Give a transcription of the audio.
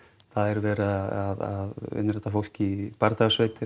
það er verið að innrita fólk í